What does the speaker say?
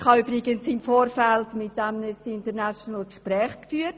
Ich habe übrigens im Vorfeld mit Amnesty International Gespräche geführt.